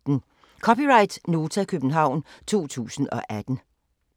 (c) Nota, København 2018